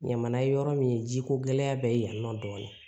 Ɲamana yɔrɔ min ye jiko gɛlɛya bɛ yan nɔ dɔɔnin